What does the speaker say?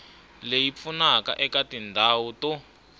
leyi pfunaka eka tindhawu to